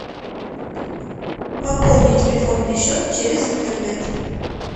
пополни телефонный счет через интернет